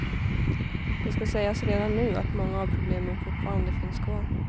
Det ska sägas redan nu att många av problemen fortfarande finns kvar.